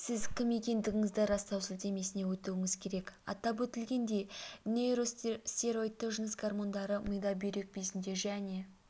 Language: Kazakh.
сіз кім екендігіңізді растау сілтемесіне өтуіңіз керек атап өтілгендей нейростероидты жыныс гормондары мида бүйрек безінде және